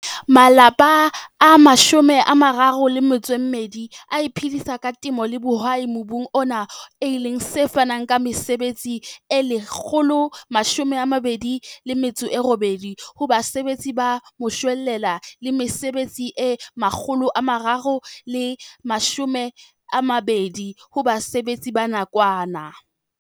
Malapa a 32 a iphedisa ka temo le bohwai mobung ona e leng se fanang ka mesebetsi e 128 ho basebetsi ba moshwelella le mesebetsi e 320 ho basebetsi ba nakwana.